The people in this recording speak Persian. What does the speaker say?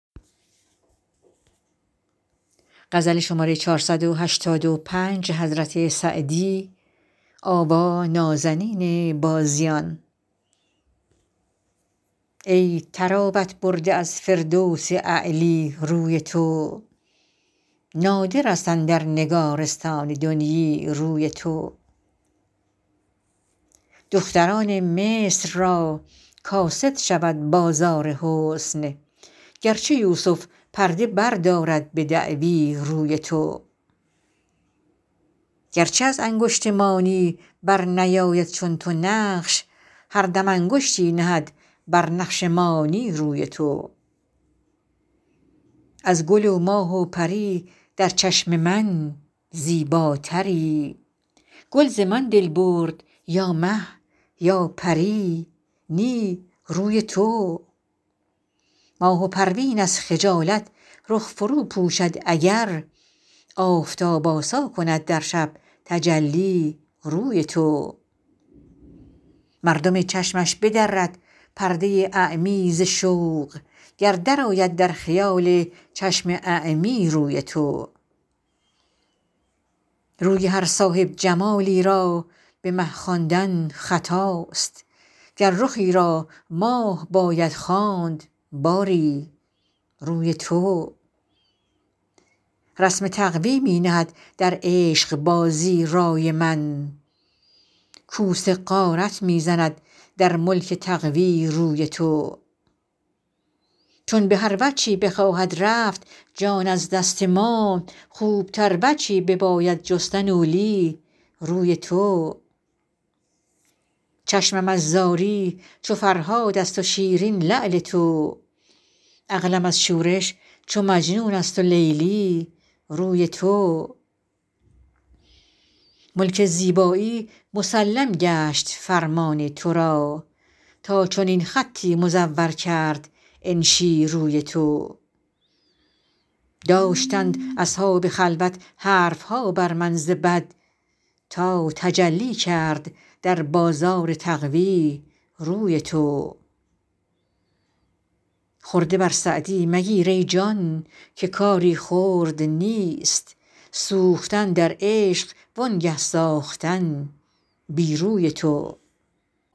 ای طراوت برده از فردوس اعلی روی تو نادر است اندر نگارستان دنیی روی تو دختران مصر را کاسد شود بازار حسن گر چو یوسف پرده بردارد به دعوی روی تو گر چه از انگشت مانی بر نیاید چون تو نقش هر دم انگشتی نهد بر نقش مانی روی تو از گل و ماه و پری در چشم من زیباتری گل ز من دل برد یا مه یا پری نی روی تو ماه و پروین از خجالت رخ فرو پوشد اگر آفتاب آسا کند در شب تجلی روی تو مردم چشمش بدرد پرده اعمی ز شوق گر درآید در خیال چشم اعمی روی تو روی هر صاحب جمالی را به مه خواندن خطاست گر رخی را ماه باید خواند باری روی تو رسم تقوی می نهد در عشق بازی رای من کوس غارت می زند در ملک تقوی روی تو چون به هر وجهی بخواهد رفت جان از دست ما خوب تر وجهی بباید جستن اولی روی تو چشمم از زاری چو فرهاد است و شیرین لعل تو عقلم از شورش چو مجنون است و لیلی روی تو ملک زیبایی مسلم گشت فرمان تو را تا چنین خطی مزور کرد انشی روی تو داشتند اصحاب خلوت حرف ها بر من ز بد تا تجلی کرد در بازار تقوی روی تو خرده بر سعدی مگیر ای جان که کاری خرد نیست سوختن در عشق وانگه ساختن بی روی تو